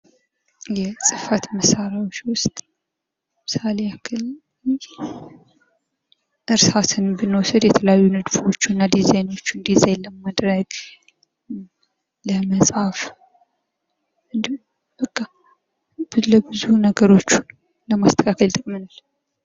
የፅፈት መሳሪያዎች ውስጥ ለምሳሌ ያክል እርሳስ ብንወስድ የተለያዩ ንድፎች እና ዲዛይኖችን ዲዛይን ለማድረግ ለመፃፍ እንዲሁም በቃ የተለያዩ ነገሮችን ለመንደፍ እና ለማስተካከል ይጠቅመናል።